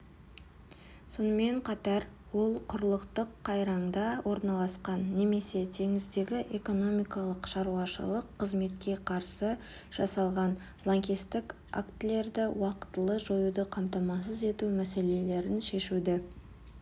сонымен қатар ол құрлықтық қайраңда орналасқан немесе теңіздегі экономикалық шаруашылық қызметке қарсы жасалған лаңкестік актілерді уақытылы жоюды қамтамасыз ету мәселелерін шешуді